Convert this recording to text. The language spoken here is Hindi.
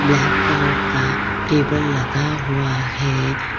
ब्लैक कलर का टेबल लगा हुआ है।